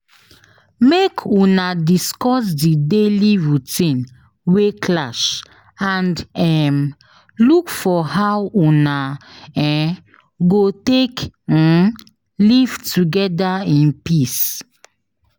Make Una discuss the daily routine wey clash and um look for how Una um go take um live together in peace